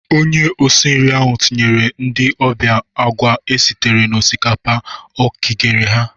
Onye osi nri ahụ tinyere ndị ọbịa agwa esitere n'osikapa o kigere ha.